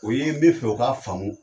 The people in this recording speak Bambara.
U ye n bi fɛ u ka faamu